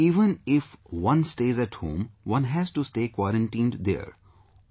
Sir, even if one stays at home, one has to stay quarantined there